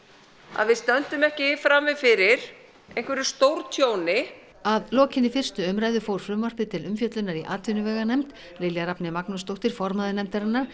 að við stöndum ekki frammi fyrir einhverju stórtjóni að lokinni fyrstu umræðu fór frumvarpið til umfjöllunar í atvinnuveganefnd Lilja Rafney Magnúsdóttir formaður nefndarinnar